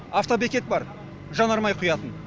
автобекет бар жанармай құятын